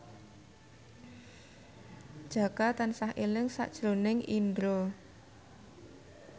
Jaka tansah eling sakjroning Indro